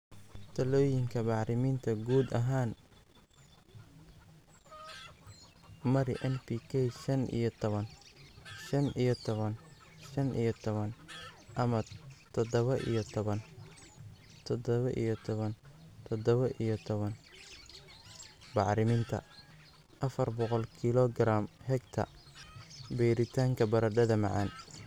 "Talooyinka Bacriminta Guud ahaan, mari NPK shan iyo tawan:shan iyo tawan:shan iyo tawan ama tadhawa iyo tawan:tadhawa iyo tawan:tadhawa iyo tawan bacriminta (afar boqol kilogram/hectar) beeritaanka baradhada macaan.